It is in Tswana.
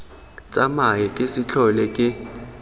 tsamae ke se tlhole ke